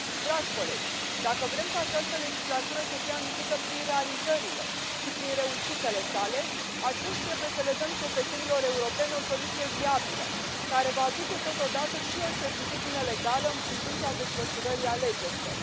Dragi colegi, dacă vrem ca această legislatură să fie amintită prin realizările și prin reușitele sale, atunci trebuie să le dăm cetățenilor europeni o soluție viabilă, care va aduce totodată și o certitudine legală în privința desfășurării alegerilor.